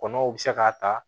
Kɔnɔw bɛ se k'a ta